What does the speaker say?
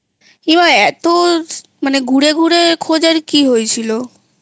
এ মা এতো ঘুরে ঘুরে খোঁজার কি হয়েছিল?